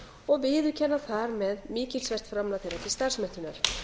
og viðurkenna þar með mikilsvert framlag þeirra til starfsmenntunar